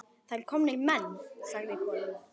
Það eru komnir menn, sagði konan.